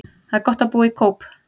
Það er gott að búa í Kóp.